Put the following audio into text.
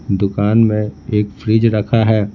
दुकान में एक फ्रिज रखा है।